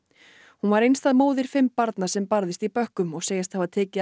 hún var einstæð móðir fimm barna sem barðist í bökkum og segist hafa tekið